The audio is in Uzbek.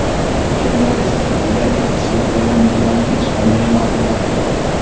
Jurnalist haqida ikki sutkadan buyon hech qanday ma’lumot yo‘q.